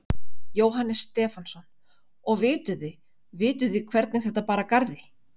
Jóhannes Stefánsson: Og vituð þið, vitið þið hvernig þetta bar að garði?